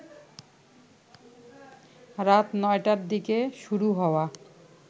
রাত ৯টার দিকে শুরু হওয়া